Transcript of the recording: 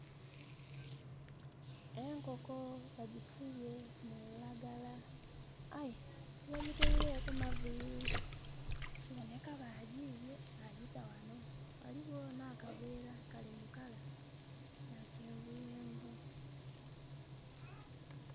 Enkoko bagisibye mu lulagala, aye tibagitweileku maviiri. Kiboneka baagyibye bagyita ghano. Ghaligho n'akaveera kali mu colour ya kyenvuyenvu.